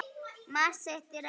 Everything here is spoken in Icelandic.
Margur sitt í reiði reitir.